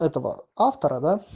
этого автора